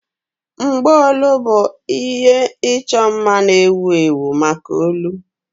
Mgbaolu bụ ihe ịchọ mma na-ewu ewu maka olu.